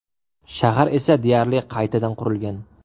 Shahar esa deyarli qaytadan qurilgan.